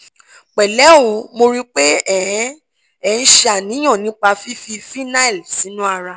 pẹ̀lẹ́ o mo rí i pé ẹ ń ẹ ń ṣe àníyàn nípa fífi phenyl sínú ara